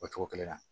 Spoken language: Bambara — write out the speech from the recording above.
O cogo kelen na